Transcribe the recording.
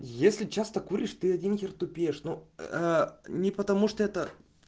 если часто куришь ты один хер тупеешь но ээ не потому что это